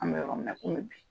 An bɛ yɔrɔ min na komi bi.